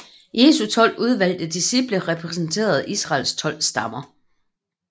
Jesu tolv udvalgte disciple repræsenterede Israels tolv stammer